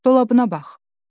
Dolabına bax.